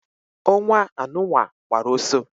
Onwa anu nwa gbara oso